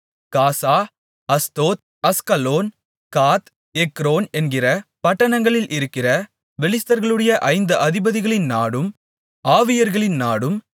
காசா அஸ்தோத் அஸ்கலோன் காத் எக்ரோன் என்கிற பட்டணங்களில் இருக்கிற பெலிஸ்தர்களுடைய ஐந்து அதிபதிகளின் நாடும் ஆவியர்களின் நாடும்